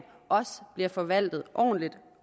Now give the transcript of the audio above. også bliver forvaltet ordentligt